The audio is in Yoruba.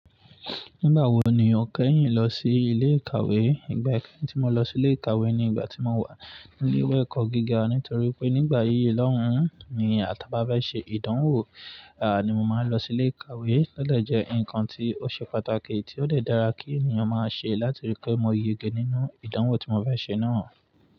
Nígbà wo ni o kẹ́yìn lọ sí ilé ìkàwé? Ìgbà kẹ́yìn tí mo lọ sí ilé ìkàwé ni ìgbà tí mo wà ní ilé ìwé ẹ̀kọ́ gíga. Nítorí pé nígbà yí lọ́hùn ún ni àtà bá bá ṣe ìdánwò, ní mo máa ń lọ sí ilé ìkàwé. O lẹ̀ jẹ́ ǹkan tí ó ṣe pàtàkì tí ó lè dára kí ènìyàn máa ṣe láti rí pé mo yege nínú ìdánwò tí mo fe ṣe náà.